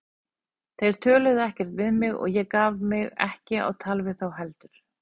Þeir töluðu ekkert við mig og ég gaf mig ekki á tal við þá heldur.